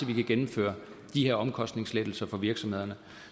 vi kan gennemføre de her omkostningslettelser for virksomhederne